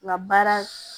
Nka baara